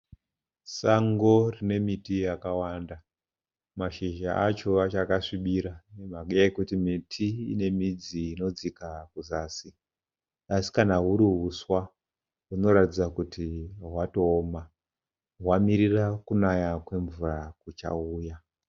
Sango rine miti yakawanda mashizha acho achakasvibira nemhaka yekuti miti ine midzi inodzika kuzasi asi kana huri huswa hunoratidza kuti hwatooma hwamirira kunaya kwemvura kuchauya.